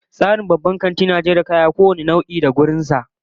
Tsarin babban kanti na jera kayayyaki kowane nau'i da sashen shi, yana da kyau